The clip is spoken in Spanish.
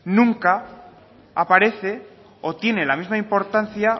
nunca aparece o tiene la misma importancia